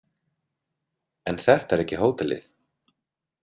En þetta er ekki hótelið.